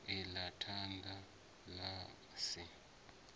i ḽa thanda ḽa si